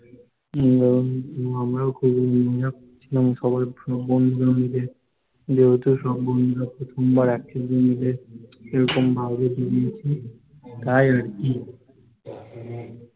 আমরা ও খুব ভিজলাম সবাই বন্ধুরা মিলে যেহেতু সব বন্ধুরা প্রথমবার একসাথে মিলে এরকম বাইরে গিয়েছি তাই আরকি